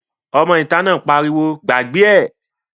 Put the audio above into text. Ọmọ ìta náà pariwo "gbàgbé ẹ̀!"